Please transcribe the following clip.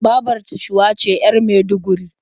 Babar ta Shuwa ce 'yar Maiduguri.